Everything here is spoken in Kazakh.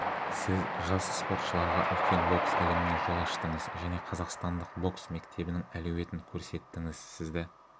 сіз жас спортшыларға үлкен бокс әлеміне жол аштыңыз және қазақстандық бокс мектебінің әлеуетін көрсеттіңіз сізді